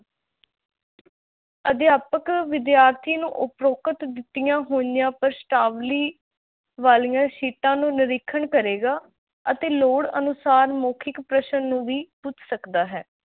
ਅਧਿਆਪਕ ਵਿਦਿਆਰਥੀ ਨੂੰ ਉਪਰੋਕਤ ਦਿੱਤੀਆਂ ਹੋਈਆਂ ਪ੍ਰਸ਼ਨਾਵਲੀ ਵਾਲੀਆਂ ਸ਼ੀਟਾਂ ਨੂੰ ਨਿਰੀਖਣ ਕਰੇਗਾ ਅਤੇ ਲੋੜ ਅਨੁਸਾਰ ਮੌਖਿਕ ਪ੍ਰਸ਼ਨ ਨੂੰ ਵੀ ਪੁੱਛ ਸਕਦਾ ਹੈ